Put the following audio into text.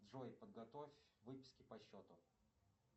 джой подготовь выписки по счету